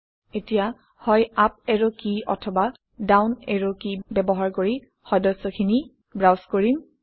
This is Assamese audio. এতিয়া হয় আপ এৰো কী অথবা ডাউন এৰো কী ব্যৱহাৰ কৰি সদস্যখিনি ব্ৰাউজ কৰিম